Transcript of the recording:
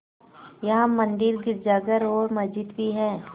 यहाँ मंदिर गिरजाघर और मस्जिद भी हैं